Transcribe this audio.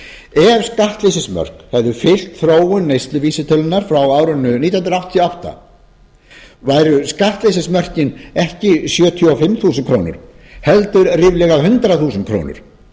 ef skattleysismörk hefðu fylgt þróun neysluvísitölunnar frá árinu nítján hundruð áttatíu og átta væru skattleysismörk ekki sjötíu og fimm þúsund krónum heldur ríflega hundrað þúsund krónur og